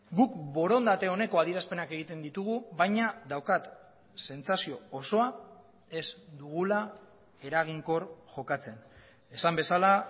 guk borondate oneko adierazpenak egiten ditugu baina daukat sentsazio osoa ez dugula eraginkor jokatzen esan bezala